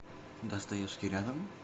достоевский рядом